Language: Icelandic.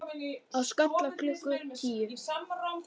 Á Skalla klukkan tíu!